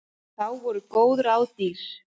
Þá voru góð ráð dýr!